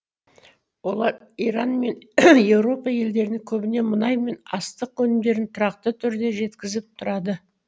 олар иран және еуропа елдеріне көбіне мұнай мен астық өнімдерін тұрақты түрде жеткізіп тұрады